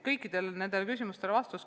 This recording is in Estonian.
Kõikidele küsimustele sai vastatud.